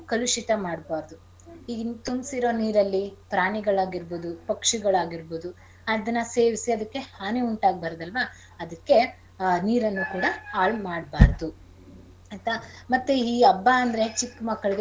ಕಲುಷಿತ ಮಾಡ್ಬಾರ್ದು. ಈಗ ಇನ್ ತುಂಬ್ಸಿರೋ ನೀರಲ್ಲಿ ಪ್ರಾಣಿಗಳಾಗಿರ್ಬೋದು ಪಕ್ಷಿಗಳಾಗಿರ್ಬೋದು ಅದನ್ನ ಸೇವಿಸಿ ಅದಕ್ಕೆ ಹಾನಿ ಉಂಟಾಗ್ಬಾರ್ದಲ್ವಾ ಅದಕ್ಕೆ ನೀರನ್ನು ಕೂಡ ಹಾಳ್ ಮಾಡ್ಬಾರ್ದು ಆಯ್ತಾ ಮತ್ತೆ ಈ ಹಬ್ಬ ಅಂದ್ರೆ ಚಿಕ್ ಮಕ್ಳಿಗೆ.